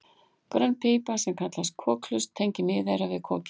grönn pípa sem kallast kokhlust tengir miðeyrað við kokið